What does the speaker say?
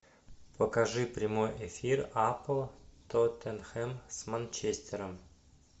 покажи прямой эфир апл тоттенхэм с манчестером